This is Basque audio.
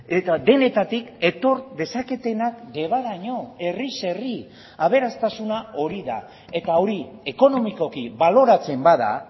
eta denetatik etor dezaketenak debaraino herriz herri aberastasuna hori da eta hori ekonomikoki baloratzen bada